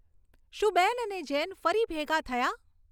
શું બેન અને જેન ફરી ભેગાં થયાં